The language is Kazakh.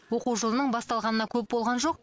оқу жылының басталғанына көп болған жоқ